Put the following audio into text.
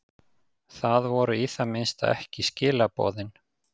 Það voru í það minnsta ekki skilaboðin.